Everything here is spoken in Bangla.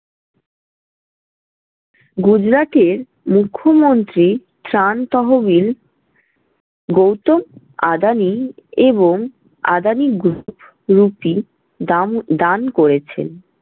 গুজরাটের মুখ্যমন্ত্রী ত্রাণ-তহবিল গৌতম আদানি এবং আদানি group group টি দাম দান করেছেন।